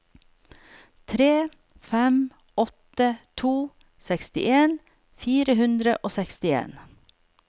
tre fem åtte to sekstien fire hundre og sekstien